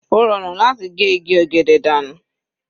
Ó rọrùn láti ge igi ọ̀gẹ̀dẹ̀ dànù.